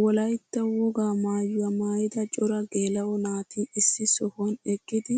Wolaytta wogaa maayuwaa maayida cora geela'o naati issi sohuwaan eqqidi